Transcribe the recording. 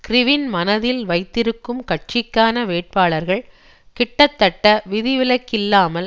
கிறிவின் மனதில் வைத்திருக்கும் கட்சிக்கான வேட்பாளர்கள் கிட்டத்தட்ட விதிவிலக்கில்லாமல்